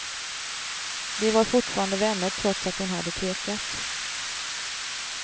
De var fortfarande vänner trots att hon hade tvekat.